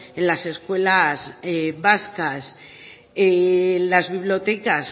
en las escuelas vascas las bibliotecas